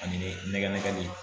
Ani nɛgɛ nɛgɛ bi